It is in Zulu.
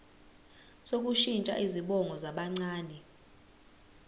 sokushintsha izibongo zabancane